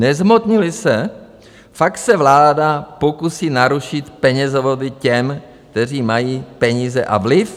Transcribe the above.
Nezhmotnily se, fakt (?) se vláda pokusí narušit penězovody těm, kteří mají peníze a vliv.